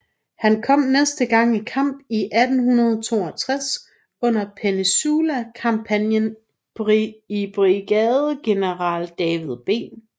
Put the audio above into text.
Han kom næste gang i kamp i 1862 under Peninsula kampagnen i brigadegeneral David B